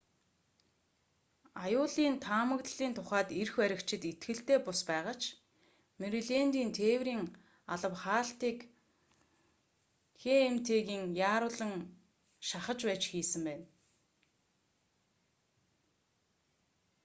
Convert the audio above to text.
аюулын таамаглалын тухайд эрх баригчид итгэлтэй бус байгаа ч мэрилэндийн тээврийн алба хаалтыг хмт-г яаруулан шахаж байж хийсэн байна